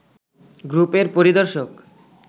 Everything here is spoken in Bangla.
গ্রুপের পরিদর্শক